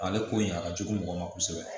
Ale ko in a ka jugu mɔgɔ ma kosɛbɛ